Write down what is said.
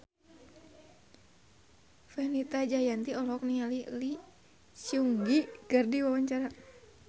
Fenita Jayanti olohok ningali Lee Seung Gi keur diwawancara